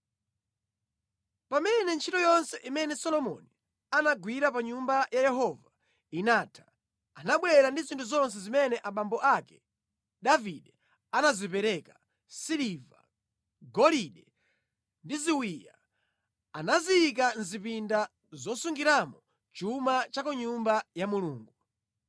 Pamene ntchito yonse imene Solomoni anagwira pa Nyumba ya Yehova inatha, anabwera ndi zinthu zonse zimene abambo ake Davide anazipereka; siliva, golide ndi ziwiya. Anaziyika mʼzipinda zosungiramo chuma cha ku Nyumba ya Mulungu.